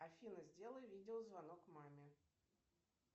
афина сделай видеозвонок маме